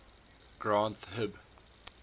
granth hib